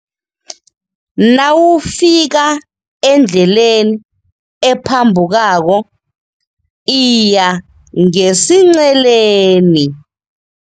Nawufika endleleni ephambukako iya ngesinceleni.